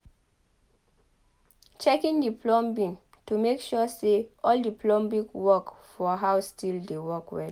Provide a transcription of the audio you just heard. Checking the plumbing to make sure say all the plumbing work for house still dey work well